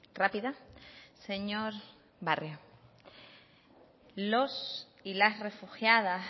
rápida señor barrio los y las refugiadas